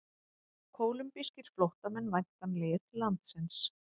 Kólumbískir flóttamenn væntanlegir til landsins